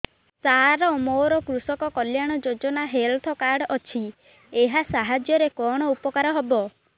ସାର ମୋର କୃଷକ କଲ୍ୟାଣ ଯୋଜନା ହେଲ୍ଥ କାର୍ଡ ଅଛି ଏହା ସାହାଯ୍ୟ ରେ କଣ ଉପକାର ହବ